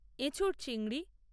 এঁচোড় চিংড়ি